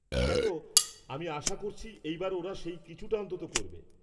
দেখ, আমি আশা করছি এইবার ওরা সেই কিছুটা অন্তত করবে।